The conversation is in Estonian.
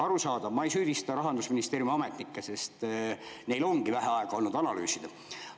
Arusaadav, ma ei süüdista Rahandusministeeriumi ametnikke, sest neil ongi vähe aega olnud analüüsida.